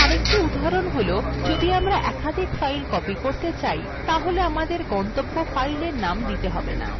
আরেকটি উদাহরণ যখন আমরা একাধিক file copy করতে হলে আমাদের গন্তব্য file name দিতে হবে না